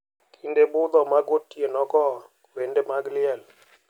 Kinde budho ma gotieno go, wende mag liel,